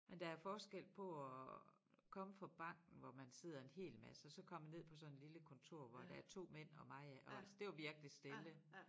Men der er forskel på at komme fra banken hvor man sidder en hel masse og så komme ned på sådan lille kontor hvor der er 2 mænd og mig ik og så det var virkelig stille